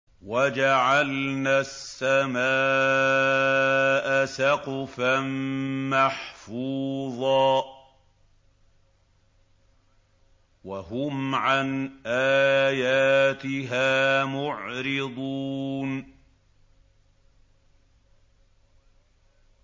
وَجَعَلْنَا السَّمَاءَ سَقْفًا مَّحْفُوظًا ۖ وَهُمْ عَنْ آيَاتِهَا مُعْرِضُونَ